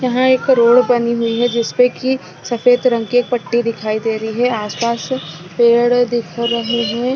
यहाँ पे रोड बनी हुई है जिसपे की सफ़ेद रंग की पटी दिखाई दे रही है आस पास पेड़ दिख रहे हैं ।